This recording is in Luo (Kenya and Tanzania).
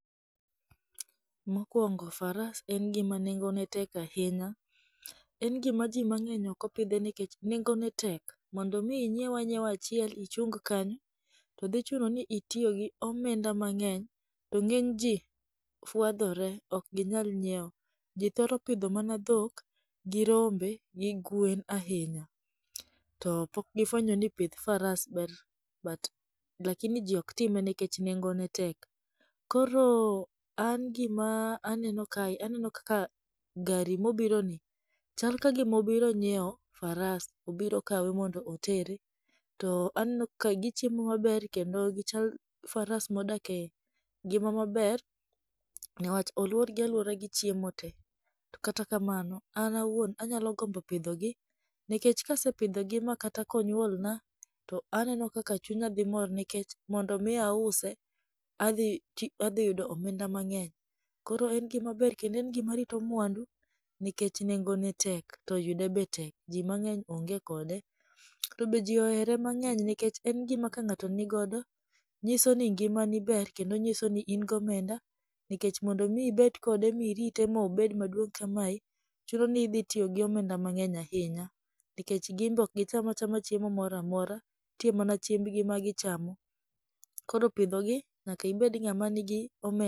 Mokuongo faras en gima nengone tek ahinya. En gima ji mang'eny ok opidhe nikech nengone tek. Mondo mi inyieu anyiewa achiel ichun kanyo, to dhi chuno ni itiyo gi omenda mang'eny, to ng'eny ji fwadhore ok ginyal nyieo. Ji thoro pidho mana dhok, gi rombe gi gwen ahinya. To pok gifwenyo ni pith faras ber but lakini ji ok time nikech nengone tek. Koro an gima aneno kae aneno kaka gari mobironi chal ka gima obiro nyieo faras, obiro kawe mondo otere, to aneno ka gichiemo maber kendo gichal faras modak e ngima maber newach olworgi alwora gi chiemo te. To kata kamano an awuon anyalo gomdo pidhogi nikech kasepidhogi ma kata ka onyuol na, to aneno kaka chunya dhi mor nikech mondo mi ause adhi ti adhi yudo omenda mang'eny. Koro en gima ber kendo en gima rito mwandu, nikech nengome tek to yude be tek to ji mang'eny onge kode. To be ji oere mang'eny nikech en gima ka ng'ato nogodo, nyiso ni ngimani ber kendo nyiso ni in gi omenda, nikech mondo mi ibed kode mirite ma obed maduong' kamae, chuno ni idhi tiyo gi omenda mang'eny ahinya nikech gin be ok gicham achama chiemo moro amora, nitie mana chiembgi ma gichamo. Koro pidho gi nyaka ibed ng'ama nigi omenda.